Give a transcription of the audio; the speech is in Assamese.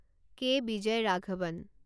কে. বিজয়ৰাঘবন